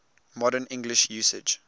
modern english usage